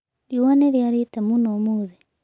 Riũa nĩ rĩarĩte mũno ũmũthĩ.